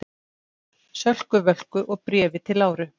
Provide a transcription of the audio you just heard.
Sölku Völku og Bréfi til Láru.